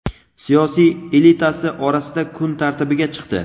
siyosiy elitasi orasida kun tartibiga chiqdi.